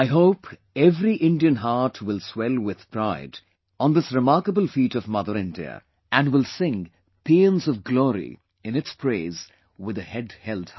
I hope every Indian being will swell with pride on this remarkable feat of mother India... and will sing paeans of glory in its praise with the head held high